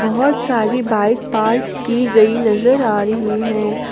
बहोत सारी bike park की गई नजर आ रही है।